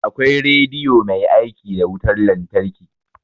Akwai rediyo mai aiki da wutar lantarki